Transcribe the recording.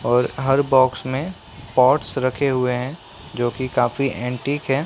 और हर बॉक्स में पॉट्स रखे हुए हैं जो कि काफी एंटीक हैं।